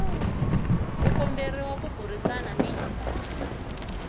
u komberiwa ku burisana ni